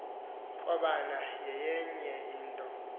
krobana yayenye into